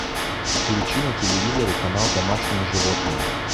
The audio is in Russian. включи на телевизоре канал домашние животные